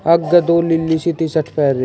आगे दो लीली सी टि शर्ट पहेरी--